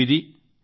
ఎనిమిది